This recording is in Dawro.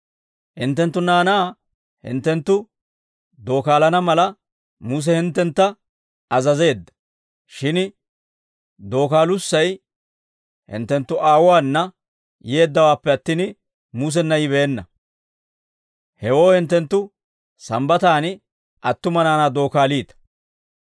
Hinttenttu naanaa hinttenttu dookaalana mala, Muse hinttentta azazeedda. Shin dookaalussay hinttenttu aawotuwaana yeeddawaappe attin, Musenna yibeenna; hewoo hinttenttu Sambbataan attuma naanaa dookaaliita.